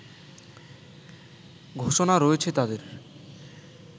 ঘোষণা রয়েছে তাদের